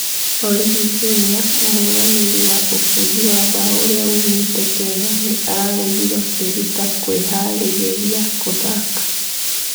Origi jr.Mũhũranĩri wa ũbũngi wa mbao ũrĩa wũmite Kenya nĩ araregire kũeruta kũiharĩrĩria gũthaka.